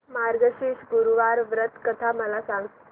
मार्गशीर्ष गुरुवार व्रत कथा मला सांग